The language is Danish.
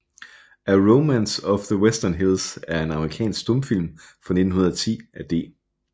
A Romance of the Western Hills er en amerikansk stumfilm fra 1910 af D